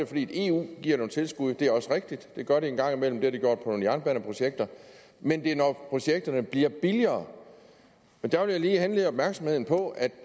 fordi eu giver nogle tilskud det er også rigtigt det gør de en gang imellem det har de gjort til nogle jernbaneprojekter men det er når projekterne bliver billigere og der vil jeg lige henlede opmærksomheden på at